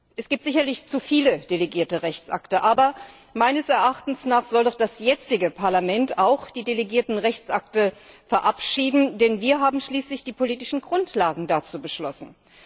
Es gibt sicherlich zu viele delegierte Rechtsakte, aber meines Erachtens sollte das jetzige Parlament auch die delegierten Rechtsakte verabschieden, denn wir haben schließlich die politischen Grundlagen dazu beschlossen.